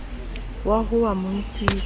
wa ho ya mo nkisa